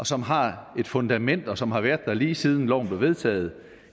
som har et fundament og som har været der lige siden loven blev vedtaget